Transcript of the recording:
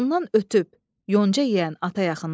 Ondan ötüb yonca yeyən ata yaxınlaşdı.